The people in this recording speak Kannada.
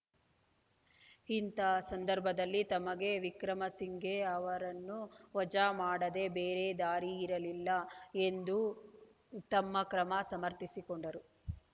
ಇಂಥ ಸಂದರ್ಭದಲ್ಲಿ ತಮಗೆ ವಿಕ್ರಮಸಿಂಘೆ ಅವರನ್ನು ವಜಾ ಮಾಡದೇ ಬೇರೆ ದಾರಿಯಿರಲಿಲ್ಲ ಎಂದು ತಮ್ಮ ಕ್ರಮ ಸಮರ್ಥಿಸಿಕೊಂಡರು